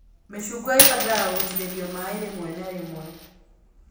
Mĩcungwa ĩbatagaraga gũitĩrĩrio maĩ rĩmwe na rĩmwe